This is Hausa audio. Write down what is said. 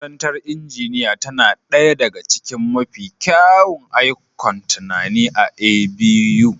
Makarantar injiniya tana ɗaya daga cikin mafi kyawun ikon tunani a A.B.U.